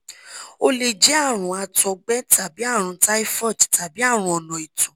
ó lè jẹ́ àrùn àtọ̀gbẹ tàbí àrùn typhoid tàbí àrùn ona ito